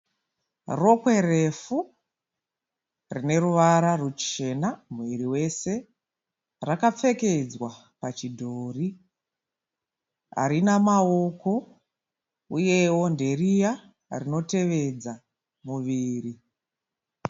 Rokwe refu rineruvara ruchena muviri wese, rakapfekedzwa pachidhori harina maoko uyewo nderiya rinotevedza muviri.